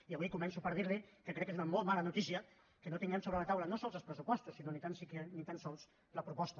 i avui començo per dir li que crec que és una molt mala notícia que no tinguem sobre la taula no sols els pressupostos sinó ni tan sols la proposta